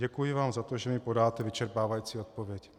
Děkuji vám za to, že mi podáte vyčerpávající odpověď.